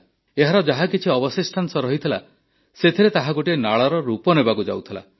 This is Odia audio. ଏହାର ଯାହାକିଛି ଅବଶିଷ୍ଟାଂଶ ରହିଥିଲା ସେଥିରେ ତାହା ଗୋଟିଏ ନାଳର ରୂପ ନେବାକୁ ଯାଉଥିଲା